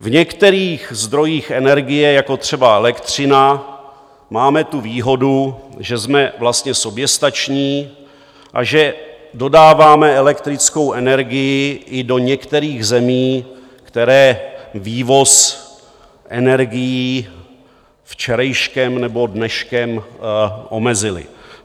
V některých zdrojích energie, jako třeba elektřina, máme tu výhodu, že jsme vlastně soběstační a že dodáváme elektrickou energii i do některých zemí, které vývoz energií včerejškem nebo dneškem omezily.